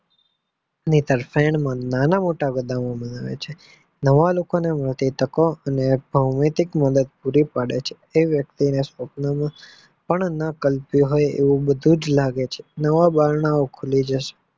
તરફેલ માં બધા નાના મોટા ઉમેરાય છે નવા લોકો ને બધી તકો અને ભૌમિક મદદ પુરી પડે છે આ વક્તિ આ સપના માં પણ આ કલ્પિઉ હોય તેવું લાગે છે નવા બારણાંઓ ખુલે જશે